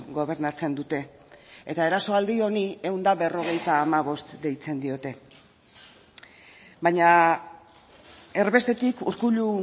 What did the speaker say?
gobernatzen dute eta erasoaldi honi ehun eta berrogeita hamabost deitzen diote baina erbestetik urkullu